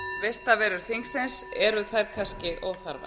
vistarverur þingsins séu kannski óþarfar